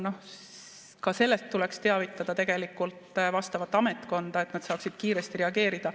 No ka sellest tuleks teavitada tegelikult vastavat ametkonda, et nad saaksid kiiresti reageerida.